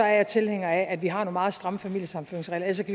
jeg tilhænger af at vi har nogle meget stramme familiesammenføringsregler ellers